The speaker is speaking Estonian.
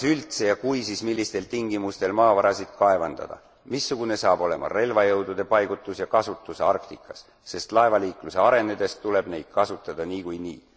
Kas üldse ja kui, siis millistel tingimustel maavarasid kaevandada? Missugune saab olema relvajõudude paigutus ja kasutus Arktikas, sest laevaliikluse arenedes tuleb neid kasutada niikuinii.